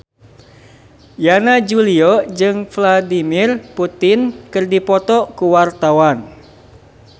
Yana Julio jeung Vladimir Putin keur dipoto ku wartawan